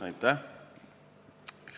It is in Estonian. Aitäh!